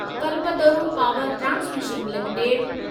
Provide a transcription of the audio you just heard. Kalpataru power transmission limited